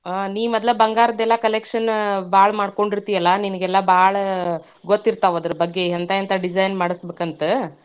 ಅ ನೀ ಮೊದ್ಲ ಬಂಗಾರದ collection ಭಾಳ್ ಮಾಡ್ಕೊಂಡಿರ್ತಿ ಅಲಾ, ನಿನಗೆಲ್ಲಾ ಭಾಳ ಗೊತ್ತಿರರ್ತಾವ್ ಅದರ ಬಗ್ಗೆ. ಎಂತಾ ಎಂತಾ design ಮಾಡ್ಸಬೇಕಂತ.